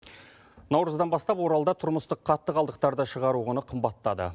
наурыздан бастап оралда тұрмыстық қатты қалдықтарды шығару құны қымбаттады